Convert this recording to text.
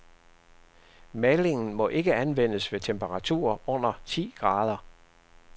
Malingen må ikke anvendes ved temperaturer under ti grader.